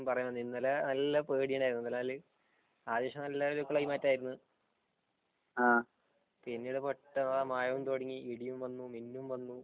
ഇന്നലെ നല്ല പേടിയുണ്ടായിരുന്നു എന്ന് വച്ചാൽ ആദ്യം നല്ല ക്ലൈമറ്റ് ആയിരുന്നു പിന്നെ പെട്ടന്ന് മഴയും തുടങ്ങി ഇടിയും വന്നു മിന്നും വന്നു